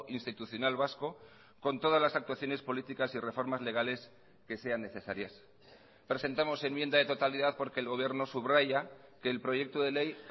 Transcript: institucional vasco con todas las actuaciones políticas y reformas legales que sean necesarias presentamos enmienda de totalidad porque el gobierno subraya que el proyecto de ley